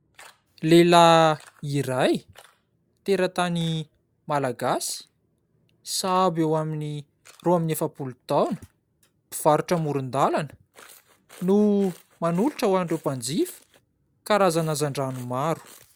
Lehilahy iray, teratany Malagasy, sahabo eo amin'ny roa amby efapolo taona, mpivarotra amorondalana no manolotra ho an'ireo mpanjifa karazana hazandrano maro.